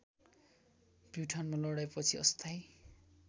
प्युठानमा लडाईँपछि अस्थायी